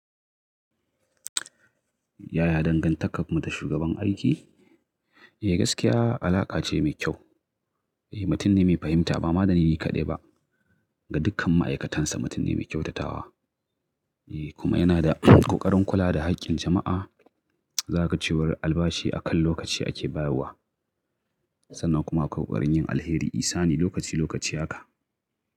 Yaya dangantakar ku da shugaban aiki? Eh gaskiya alaƙa ce mai kyau. Eh, mutum ne mai fahimta ba madani ni kaɗai ba. Ga dukkan ma'aikatansa mutum ne mai kyautatawa. Eh kuma yana da ƙoƙarin kula da haƙƙin jama'a. Zakaga ce war albashin akan lokaci ake bayarwa sannan kuma akwai ƙoƙarin yin alheri isani lokaci lokaci haka.